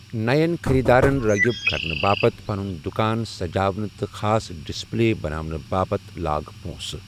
نَٮ۪ن خٔریٖدارَن رٲغِب کرنہٕ باپتھ پنُن دُکان سجاونہٕ تہٕ خاص ڈسپلے بناونہٕ باپتھ لاگ پونٛسہٕ۔